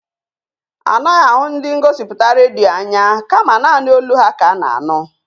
Anaghị ahụ ndị ngosipụta redio anya kama naanị olu ha ka a na-anụ.